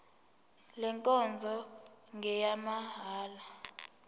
le nkonzo ngeyamahala